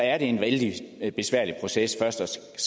er en vældig besværlig proces først